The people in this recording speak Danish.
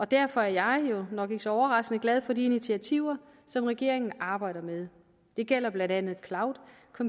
derfor er jeg jo nok ikke så overraskende glad for de initiativer som regeringen arbejder med det gælder blandt andet